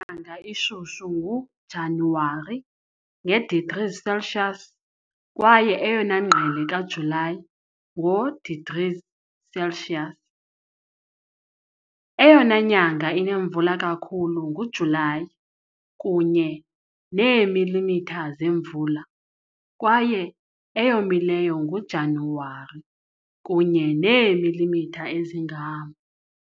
nyanga ishushu nguJanuwari, nge- degrees Celsius, kwaye eyona ngqele kaJulayi, ngo- degrees Celsius. Eyona nyanga inemvula kakhulu nguJulayi, kunye neemilimitha zemvula, kwaye eyomileyo nguJanuwari, kunye neemilimitha ezingama .